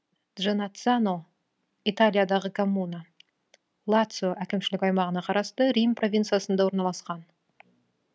дженаццано италиядағы коммуна лацио әкімшілік аймағына қарасты рим провинциясында орналасқан